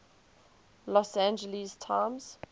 los angeles times